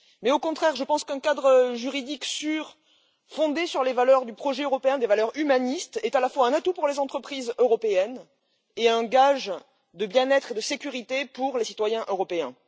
Au contraire, je pense qu'un cadre juridique sûr, fondé sur les valeurs du projet européen, des valeurs humanistes, est à la fois un atout pour les entreprises européennes et un gage de bien être et de sécurité pour les citoyens européens.